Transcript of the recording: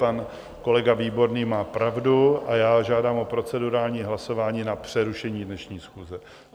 Pan kolega Výborný má pravdu a já žádám o procedurální hlasování na přerušení dnešní schůze.